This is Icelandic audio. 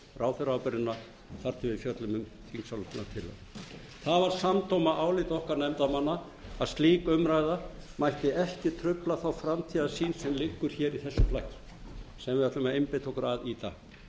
ráðherraábyrgðina þar til vil fjöllum um þingsályktunina það var samdóma álit okkar nefndarmanna að slík umræða mætti ekki trufla þá framtíðarsýn sem liggur í þessu plaggi sem við ætlum að einbeita okkur að í dag